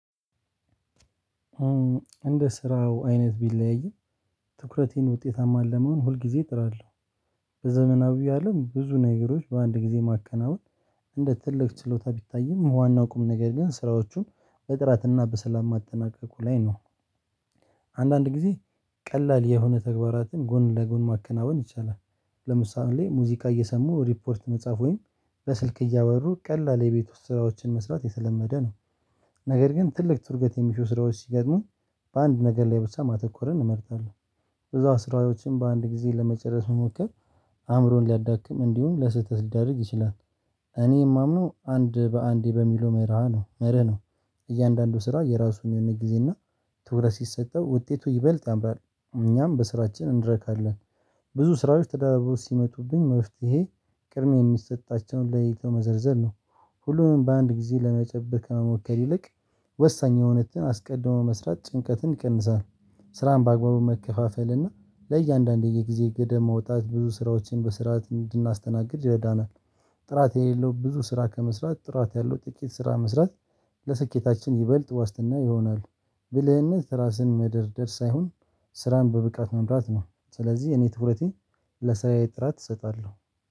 እንደ ስራው አይነት ቢለያይም ትኩረቴን ውጤታማ ለመሆን ሁል ጊዜ እጥራለሁ። በዘመናዊ አለም ብዙ ነገሮች በአንድ ጊዜ ማከናወን እንደ ትልቅ ችሎታ ቢታይም ዋናው ቁም ነገር ግን ስራዎቹን በጥራትና በሰላም ማጠናቀቁ ላይ ነው። አንዳንድ ጊዜ ቀላል የሆነ ተግባራትን ጎን ለጎን ማከናወን ይቻላል። ለምሳሌ ሙዚቃ እየሰሙ ሪፖርት መጻፍ ወይም በስልክ እያበሩ ቀላል የቤት ውስጥ ስራዎችን መስራት የተለመደ ነው። ነገር ግን ትልቅ ትርገት የሚሹ ስራዎች ሲገጥሙን በአንድ ነገር ላይ ብቻ ማተኮርን እመርጣለሁ። ብዙ አሰራሮችን በአንድ ጊዜ ለመጨረስ መሞከር አእምሮን ሊያዳክም እንዲሁም ለስህተት ሊዳርግ ይችላል። እኔ የማምነው አንድ በአንዴ በሚለው መርሃ ነው መርህ ነው። እያንዳንዱ ስራ የራሱን የሆነ ጊዜ እና ትኩረት ሲሰጠው ውጤቱ ይበልጥ ያምራል። እኛም በስራችን እንረካለን። ብዙ ስራዎች ተደራርበው ሲመጡብኝ መፍትሄ ቅድሜ የሚሰጣቸውን ለይተው መዘርዘር ነው። ሁሉንም በአንድ ጊዜ ለመጨበ ከመሞከር ይልቅ ወሳኝ የሆኑትን አስቀድሞ መስራት ጭንቀትን ይቀንሳል ስራን በአግባቡ መከፋፈል እና ለእያንዳንዱ የጊዜ ገደብ መውጣት ብዙ ስራዎችን በስርዓት እንድናስተናግድ ይረዳናል። ጥራት የሌለው ብዙ ስራ ከመስራት ጥራት ያለው ጥቂት ስራ መስራት ለስኬታችን ይበልጥ ዋስትና ይሆናል። ብልህነት ራስን መደርደር ሳይሆን ስራን በብቃት መምራት ነው። ስለዚህ እኔ ትኩረቴ ለስራዬ ጥራት እሰጣለሁ።